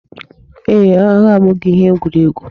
Ee, agha abụghị ihe egwuregwu.